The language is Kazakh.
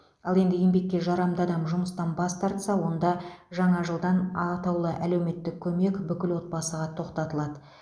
ал енді еңбекке жарамды адам жұмыстан бас тарса онда жаңа жылдан атаулы әлеуметтік көмек бүкіл отбасыға тоқтатылады